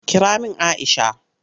Kira min Aisha!